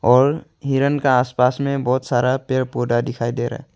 और हिरन का आस पास में बहुत सारा पेड़ पौधा दिखाई दे रहा है।